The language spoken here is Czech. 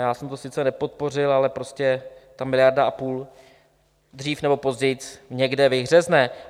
Já jsem to sice nepodpořil, ale prostě ta miliarda a půl dříve nebo později někde vyhřezne.